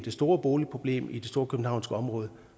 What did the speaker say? store boligproblem i det storkøbenhavnske område